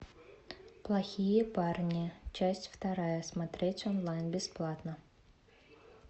плохие парни часть вторая смотреть онлайн бесплатно